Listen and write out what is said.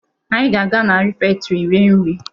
Anyị ga-aga na refektrị rie nri.